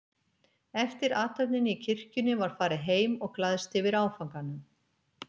Eftir athöfnina í kirkjunni var farið heim og glaðst yfir áfanganum.